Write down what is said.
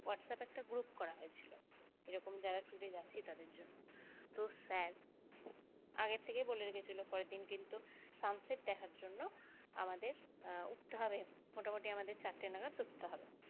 WhatsApp এ একটা group করা হয়েছিল এরকম যারা trip এ যাচ্ছে তাদের জন্য তো sir আগের থেকেই বলে রেখেছিল পরের দিন কিন্তু sunset দেখার জন্য আমাদের উঠতে হবে মোটামুটি আমাদের চারটে নাগাদ উঠতে হবে।